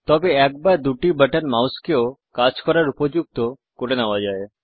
তবে এক বা দুটি বাটন মাউসকে ও কাজ করার উপযুক্ত করে নেওয়া যায়